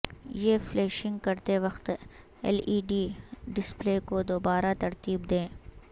یہ فلیشنگ کرتے وقت ایل ای ڈی ڈسپلے کو دوبارہ ترتیب دیں